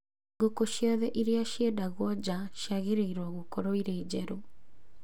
Ngũkũ ciothe iria ciendagio nja ciagĩrĩirũo gũkorũo irĩ njerũ.